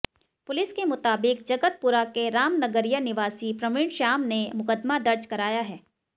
police के मुताबिक जगतपुरा के रामनगरिया निवासी प्रवीण श्याम ने मुकदमा दर्ज कराया है